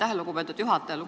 Aitäh, lugupeetud juhataja!